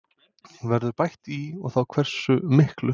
Verður bætt í og þá hversu miklu?